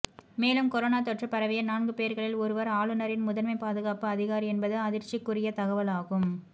மேலும் கொரோனா தொற்று பரவிய நான்கு பேர்களில் ஒருவர் ஆளுநரின் முதன்மை பாதுகாப்பு அதிகாரி என்பது அதிர்ச்சிக்குரிய தகவலாகும்